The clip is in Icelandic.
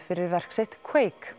fyrir verk sitt